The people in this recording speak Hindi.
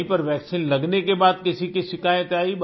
कहीं पर वैक्सीन लगने के बाद किसी की शिकायत आई